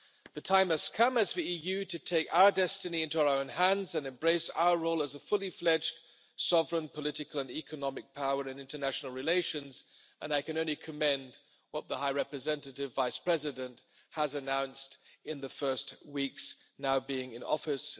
The time has come, as the EU, to take our destiny into our own hands and embrace our role as a fully fledged sovereign political and economic power in international relations, and I can only commend what the High Representative Vice President has announced in the first weeks in office.